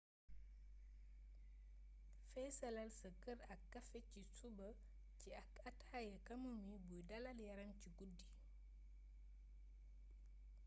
feesalal sa kër ak kafe ci suba ci ak ataaya chamomile buy dalal yaram ci guddi